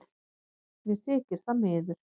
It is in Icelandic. Mér þykir það miður